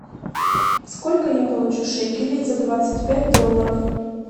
сколько я получу шекелей за двадцать пять долларов